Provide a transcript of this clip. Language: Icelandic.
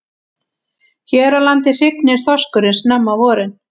Hér á landi hrygnir þorskurinn snemma á vorin.